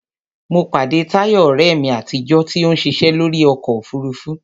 Mo pàdé Táyọ̀, ọ̀rẹ́ mi àtijọ́, tí ó ń ṣiṣẹ́ lórí ọkọ òfurufú